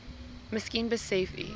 miskien besef u